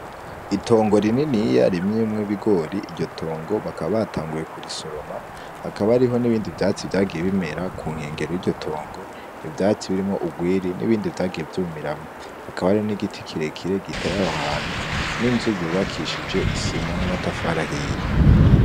Itongo rininiya ririmyemywo ibigori, iryo tongo bakaba batanguye kurisoroma hakaba hariho n'ibindi vyatsi vyagiye bimera kunkengera y'iryo tongo, ivyatsi birimwo urwiri n'ibindi vyagiye vyumiramwo hakaba hari igiti kirekire giteye aho hantu, n'inzu yubakishije isima n'amatafari ahiye.